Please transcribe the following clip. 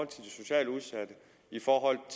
til de socialt udsatte i forhold